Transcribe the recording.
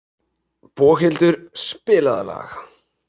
Boghildur, spilaðu lag.